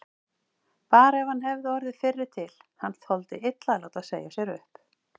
Bara ef hann hefði orðið fyrri til, hann þoldi illa að láta segja sér upp.